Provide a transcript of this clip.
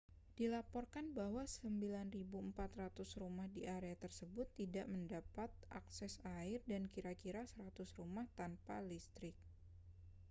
dilaporkan bahwa 9.400 rumah di area tersebut tidak mendapat akses air dan kira-kira 100 rumah tanpa listrik